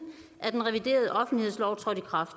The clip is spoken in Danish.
at den reviderede offentlighedslov trådte i kraft